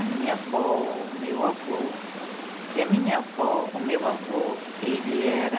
A minha avó, o meu avô, que a minha avó, o meu avô, ele era